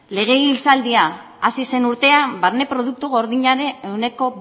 legegintzaldia hasi zen urtean barne produktu gordinaren ehuneko